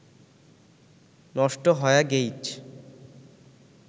নষ্ট হয়া গেইচ